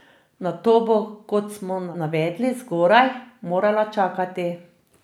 Na to bo, kot smo navedli zgoraj, morala čakati.